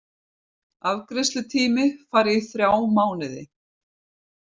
Afgreiðslutími fari í þrjá mánuði